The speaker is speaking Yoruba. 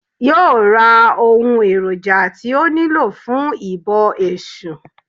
Yóò ra ohun èròjà tí ó nílò fún ìbọ Èsù